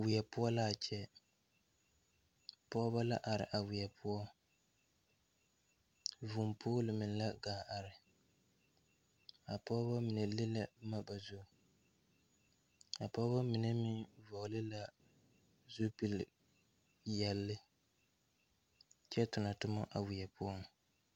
Weɛ poɔ laa kyɛ pɔɔbɔ la are a weɛ poɔ vūū pool mine la gaa are a pɔɔbɔ mine le la bomma ba zurre a pɔɔbɔ mine meŋ vɔɔle la zupil peɛɛle kyɛ tonɔ tomma a weɛ poɔŋ.